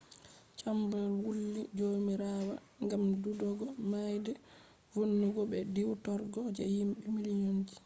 chamber wulli jomirawa ngam’’dudugo maide vonnugo be diwtorgo je himbe million ji’’